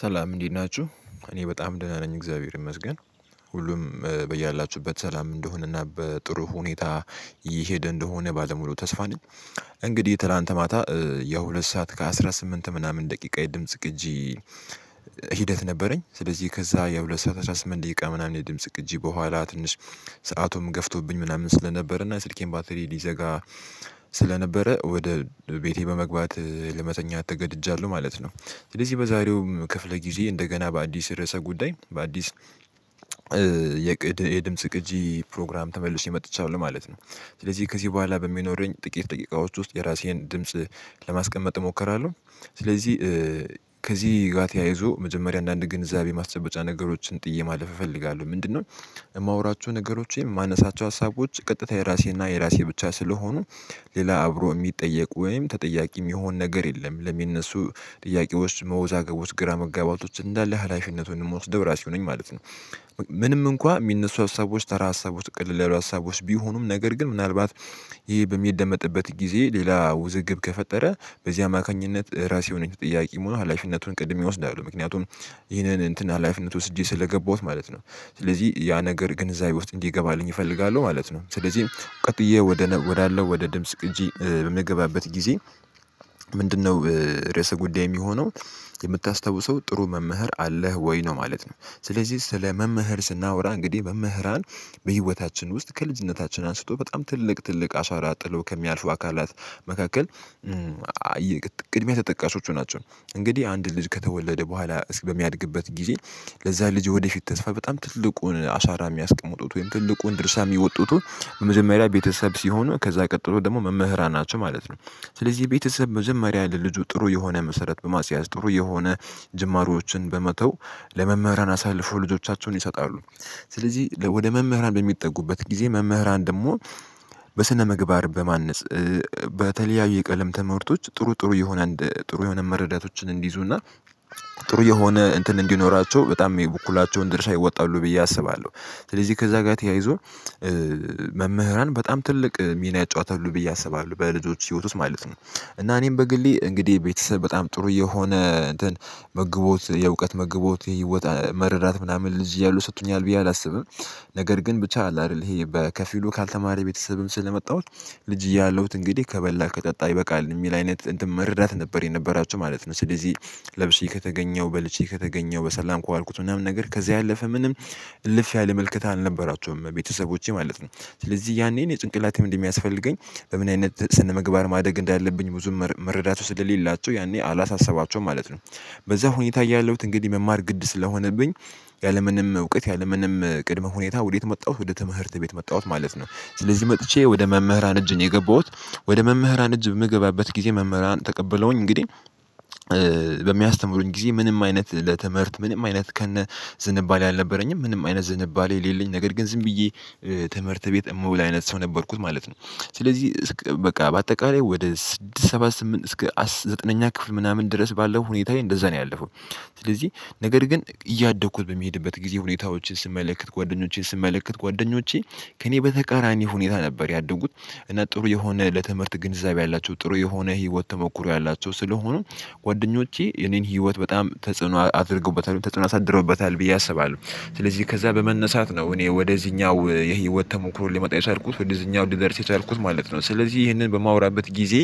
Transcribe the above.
ሰላም እንዴት ናችሁ እኔ በጣም ደህና ነኝ እግዚአብሔር ይመስገን። ሁሉም በያላችሁበት ሰላም እንደሆነና በጥሩ ሁኔታ እየሄደ እንደሆነ ባለሙሉ ተስፋ ነኝ። እንግዲህ ትላንት ማታ የሁለት ሰዓት ከአስራ ስምንት ምናምን ደቂቃ የድምጽ ቅጂ ሂደት ነበረኝ ስለዚህ ከዛ የሁለት ሰዓት አስራ ስምንት ደቂቃ ምናምን የድምጽ ቅጂ በኋላ ትንሽ ሰአቱም ገፍቶብኝ ምናምን ስለነበረ እና ስልኬን ባትሪ ሊዘጋ ስለነበረ ወደ ቤቴ በመግባት ለመተኛት ተገድጃለሁ ማለት ነው። ስለዚህ በዛሬውም ክፍለ ጊዜ እንደገና በአዲስ ርዕሰ ጉዳይ በአዲስ የቅድ የድምጽ ቅጂ ፕሮግራም ተመልሸ መጥቻለሁ ማለት ነው። ስለዚህ ከዚህ በኋላ በሚኖረኝ ጥቂት ደቂቃ ዎች ውስጥ የራሴን ድምጽ ለማስቀመጥ እሞክራለሁ። ስለዚህ ከዚህ ጋር ተያይዞ መጀመሪያ አንዳንድ ግንዛቤ ማስጨበጫ ነገሮችን ጥዬ ማለፍ እፈልጋለሁ ምንድነው? የማወራችሁ ነገሮች የማነሳቸው ሀሳቦች ቀጥታ የራሴና የራሴ ብቻ ስለሆኑ ሌላ አብሮ የሚጠየቁ ወይም ተጠያቂ የሚሆን ነገር የለም ለሚነሱ ጥያቄዎች መወዛገቦች ግራ መጋባቶች እንዳለ ሀላፊነቱን የምወስደው ራሴው ነኝ ማለት ነው። ምንም እንኳን የሚነሱ ሀሳቦች ተራ ሀሳቦች ቀለል ሀሳቦች ቢሆኑም ነገር ግን ምናልባት ይህ በሚደመጥበት ጊዜ ሌላ ውዝግብ ከፈጠረ በዚህ አማካኝነት ራሴ የሆነች ጥያቄ ሙሉ ሀላፊነቱን ቀድሜ እወስዳለሁ ምክንያቱም ይህንን እንትን ሀላፊነት ወስጄ ስለገባሁት ማለት ነው። ስለዚህ ያ ነገር ግን ግንዛቤ ውስጥ እንዲገባልኝ እፈልጋለሁ ማለት ነው። ስለዚህ ቀጥዬ ወደ ወዳለው ወደ ድምጽ ቅጂ በምገባበት ጊዜ ምንድነው ርዕሰ ጉዳይ የሚሆነው የምታስታውሰው ጥሩ መምህር አለህ ወይ ነው ማለት ነው? ስለዚህ ስለ መምህር ስናወራ እንግዲህ መምህራን በህይወታችን ውስጥ ከልጅነታችን አንስቶ በጣም ትልቅ ትልቅ አሻራ ጥለው ከሚያልፉ አካላት መካከል ቅድሚያ ተጠቃሾቹ ናቸው። እንግዲህ አንድ ልጅ ከተወለደ በኋላ እሱ በሚያድግበት ጊዜ ለዛ ልጅ ወደፊት ተስፋ በጣም ትልቁን አሻራ የሚያስቀምጡት ወይም ትልቁን ድርሻ የሚወጡት በመጀመሪያ ላይ ቤተሰብ ሲሆኑ ከዛ ቀጥሎ ደግሞ መምህራን ናቸው ማለት ነው። ስለዚህ የቤተሰብ መጀመሪያ ለልጁ ጥሩ የሆነ መሰረት በማስያዝ ጥሩ የሆነ ጅማሮዎችን በመተው ለመምህራን አሳልፎ ልጆቻቸውን ይሰጣሉ። ስለዚህ ለ ወደ መምህራን በሚጠጉበት ጊዜ መምህራን ደግሞ በስነምግባር በማነጽ በተለያዩ የቀለም ትምህርቶች ጥሩ ጥሩ የሆነ እንደ ጥሩ የሆነ መረዳቶችን እንዲይዙና ጥሩ የሆነ እንትን እንዲኖራቸው በጣም የበኩላቸውን ድርሻ ይወጣሉ ብዬ አስባለሁ። ስለዚህ ከዛ ጋር ተያይዞ መምህራን በጣም ትልቅ ሚና ይጫወታሉ ብዬ አስባለሁ በልጆች ህይወት ውስጥ ማለት ነው። እና እኔም በግሌ እንግዲህ ቤተሰብ በጣም ጥሩ የሆነ እንትን መግቦት የእውቀት መግቦት ወጣ መረዳት ምናምን ልጅ እያለው ሰጥቶኛል ብዬ አላስብም። ነገር ግን ብቻ አለ አይደል ይሄ በከፊሉ ካልተማረ ቤተሰብም ስለመጣሁት ልጅ እያለሁት እንግዲህ ከበላ ከጠጣ ይበቃል የሚል አይነት እንትን መረዳት ነበር የነበራቸው ማለት ነው። ስለዚህ ለብሼ ከተገኘው በልቼ ከተገኘው በሰላም ከዋልኩት ምናምን ነገር ከዚያ ያለፈ ምንም እልፍ ያለ ምልከታ አልነበራቸውም ቤተሰቦቼ ማለት ነው። ስለዚህ ያኔ እኔ ጭንቅላቴ እንደሚያስፈልገኝ በምን አይነት ስነምግባር ማደግ እንዳለብኝ ብዙም መረዳት ውስጥ ለሌላቸው ያኔ አላሳሰባቸውም ማለት ነው። በዛ ሁኔታ እያለሁት እንግዲህ መማር ግድ ስለሆነብኝ ያለምንም እውቀት ያለምንም ቅድመ ሁኔታ ወዴት መጣሁት ወደ ትምህርት ቤት መጣሁት ማለት ነው። ስለዚህ መጥቼ ወደ መምህራን እጅ ነው የገባሁት ወደ መምህራን እጅ በምገባበት ጊዜ መምህራን ተቀብለውኝ እንግዲህ በሚያስተምሩኝ ጊዜ ምንም አይነት ለትምህርት ምንም አይነት ከነ ዝንባሌ አልነበረኝም ምንም አይነት ዝንባሌ የሌለኝ ነገር ግን ዝም ብዬ ትምህርት ቤት የምውል አይነት ሰው ነበርኩኝ ማለት ነው። ስለዚህ በቃ በአጠቃላይ ወደ ስድስት ሰባት ስምንት እስከ ዘጠነኛ ክፍል ምናምን ድረስ ባለው ሁኔታዬ እንደዛ ነው ያለፈው። ስለዚህ ነገር ግን እያደኩ በምሄድበት ጊዜ ሁኔታዎችን ስመለከት ጓደኞችን ስመለከት ጓደኞቼ ከእኔ በተቃራኒ ሁኔታ ነበር ያደጉት እና ጥሩ የሆነ ለትምህርት ግንዛቤ ያላቸው ጥሩ የሆነ ህይወት ተሞክሮ ያላቸው ስለሆኑ ጓደኞቼ የኔን ህይወት በጣም ተጽዕኖ አድርገውበታል ተጽዕኖ አሳድሮበታል ብዬ አስባለሁ። ስለዚህ ከዛ በመነሳት ነው እኔ ወደዚህኛው የህይወት ተሞክሮ ልመጣ የቻልኩት ወደዚህኛው ልደርስ የቻልኩት ማለት ነው ስለዚህ ይህንን በማወራበት ጊዜ